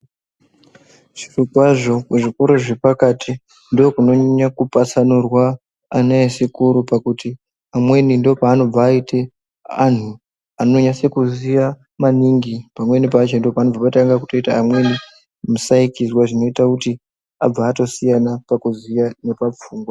Zvirokwazvo muzvikora zvepakati ndokunonyanya kupatsanurwa ana echikora, pakuti amweni ndopaanobva aite antu anonyase kuziya maningi. Pamweni ndopanobva patange kutoita amweni musaikirwa zvinoita kuti abve atosiyana pakuziya nepapfungwa.